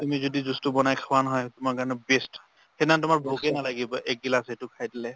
তুমি যদি juice টো বনাই খোৱা নহয়, তোমাৰ কাৰণে best | সেই দিনাখন তোমাৰ ভোকে নালাগিব, এক গিলাছ সেইটো খাই দিলে।